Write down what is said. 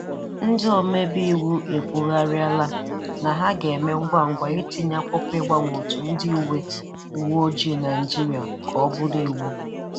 Ndị omebe iwu ekwugharịala na ha ga-eme ngwangwa itinye akwụkwọ ịgbanwe òtù ndị uwe uwe ojii Nigeria ka ọ bụrụ iwu.